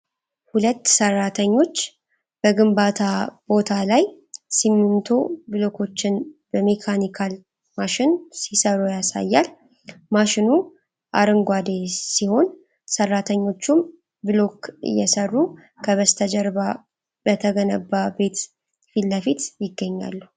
ሁለት ሰራተኞች በግንባታ ቦታ ላይ ሲሚንቶ ብሎኮችን በሜካኒካል ማሽን ሲሰሩ ያሳያል። ማሽኑ አረንጓዴ ሲሆን፣ ሰራተኞቹም ብሎክ እየሰሩ ከበስተጀርባ በተገነባ ቤት ፊት ለፊት ይገኛሉ።